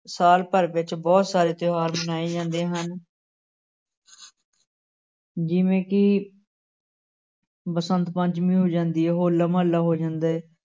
ਸਾਲ ਵਿੱਚ ਬਹੁਤ ਸਾਰੇ ਤਿਉਹਾਰ ਮਨਾਏ ਜਾਂਦੇ ਹਨ ਜਿਵੇਂ ਕਿ ਬਸੰਤ ਪੰਚਮੀ ਹੋ ਜਾਂਦੀ ਹੈ ਹੌਲਾ ਮਹੱਲਾ ਹੋ ਜਾਂਦਾ ਹੈ।